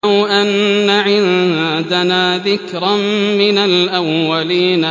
لَوْ أَنَّ عِندَنَا ذِكْرًا مِّنَ الْأَوَّلِينَ